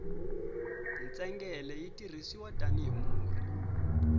ntsengele yi tirhisiwa tani hi murhi